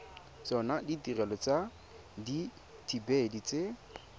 tsona ditirelo tsa dithibedi tse